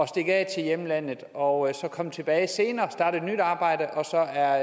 stikke af til hjemlandet og så komme tilbage senere og starte et nyt arbejde og så er